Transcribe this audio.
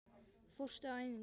Fórstu á æfingu?